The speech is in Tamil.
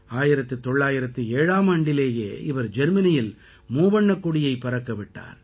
1907ஆம் ஆண்டிலேயே இவர் ஜெர்மனியில் மூவண்ணக் கொடியைப் பறக்க விட்டார்